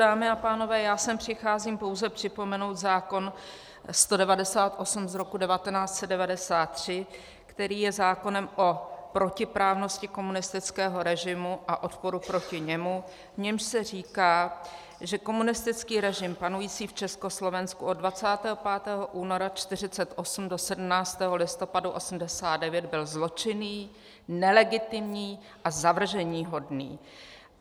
Dámy a pánové, já sem přicházím pouze připomenout zákon 198 z roku 1993, který je zákonem o protiprávnosti komunistického režimu a odporu proti němu, v němž se říká, že komunistický režim panující v Československu od 25. února 1948 do 17. listopadu 1989 byl zločinný, nelegitimní a zavrženíhodný.